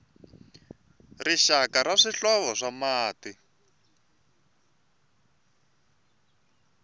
rixaka ra swihlovo swa mati